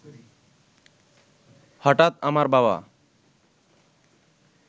হঠাৎ আমার বাবা